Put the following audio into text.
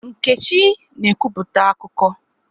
Nkechi na ekwupụta akụkọ.